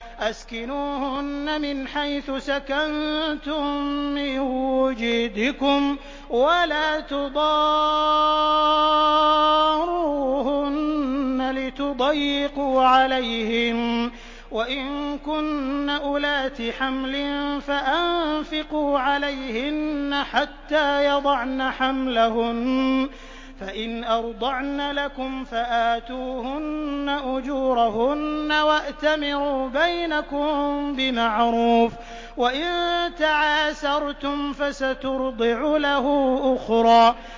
أَسْكِنُوهُنَّ مِنْ حَيْثُ سَكَنتُم مِّن وُجْدِكُمْ وَلَا تُضَارُّوهُنَّ لِتُضَيِّقُوا عَلَيْهِنَّ ۚ وَإِن كُنَّ أُولَاتِ حَمْلٍ فَأَنفِقُوا عَلَيْهِنَّ حَتَّىٰ يَضَعْنَ حَمْلَهُنَّ ۚ فَإِنْ أَرْضَعْنَ لَكُمْ فَآتُوهُنَّ أُجُورَهُنَّ ۖ وَأْتَمِرُوا بَيْنَكُم بِمَعْرُوفٍ ۖ وَإِن تَعَاسَرْتُمْ فَسَتُرْضِعُ لَهُ أُخْرَىٰ